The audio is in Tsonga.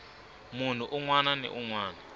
munhu un wana ni un